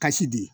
Kasi di